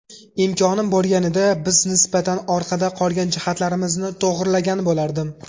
Imkonim bo‘lganida, biz nisbatan orqada qolgan jihatlarimizni to‘g‘rilagan bo‘lardim.